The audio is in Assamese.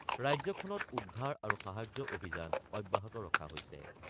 ৰাজ্যখনত উদ্ধাৰ আৰু সাহায্য অভিযান অব্যাহত ৰখা হৈছে।